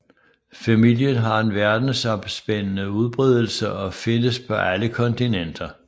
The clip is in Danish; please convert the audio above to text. Familien har en verdensomspændende udbredelse og findes på alle kontinenter